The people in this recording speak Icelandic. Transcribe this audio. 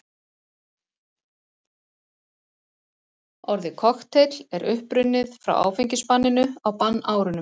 Orðið kokteill er upprunnið frá áfengisbanninu á bannárunum.